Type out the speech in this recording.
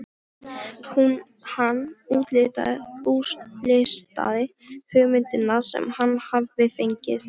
Hann útlistaði hugmyndina sem hann hafði fengið.